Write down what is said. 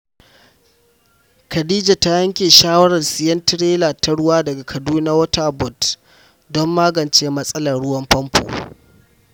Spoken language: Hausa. Khadija ta yanke shawarar siyan tirela ta ruwa daga Kaduna Water Board don magance matsalar ruwan famfo.